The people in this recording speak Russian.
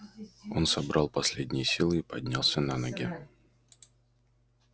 он собрал последние силы и поднялся на ноги